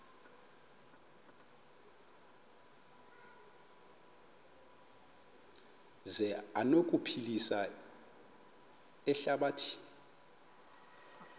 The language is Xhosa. zi anokuphilisa ihlabathi